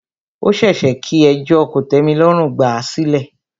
Ó ṣeéṣe kí ẹjọ́ kòtẹ́milọ́rùn gbà à sílẹ̀.